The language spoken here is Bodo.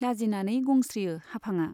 लाजिनानै गंस्रियो हाफांआ।